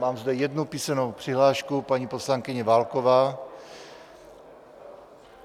Mám zde jednu písemnou přihlášku, paní poslankyně Válková.